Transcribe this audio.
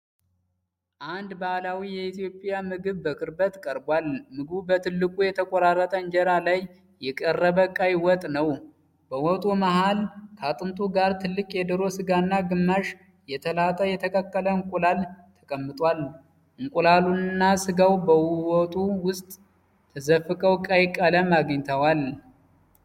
አንድ ባህላዊ የኢትዮጵያ ምግብ በቅርበት ቀርቧል። ምግቡ በትልቁ የተቆራረጠ ኢንጀራ ላይ የቀረበ ቀይ ወጥ ነው። በወጡ መሃል ከአጥንቱ ጋር ትልቅ የዶሮ ሥጋና ግማሽ የተላጠ የተቀቀለ እንቁላል ተቀምጧል። እንቁላሉና ሥጋው በወጡ ውስጥ ተዘፍቀው ቀይ ቀለም አግኝተዋል።